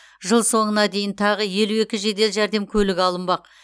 жыл соңына дейін тағы елу екі жедел жәрдем көлігі алынбақ